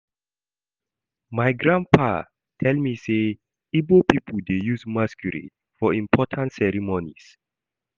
My grandpapa tell me sey, Igbo pipo dey use masquerade for important ceremonies.